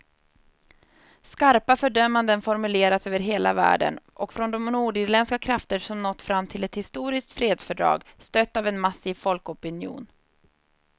Skarpa fördömanden formuleras över hela världen och från de nordirländska krafter som nått fram till ett historiskt fredsfördrag, stött av en massiv folkopinion.